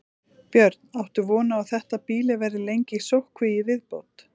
Björn: Áttu von á að þetta býli verði lengi í sóttkví í viðbót?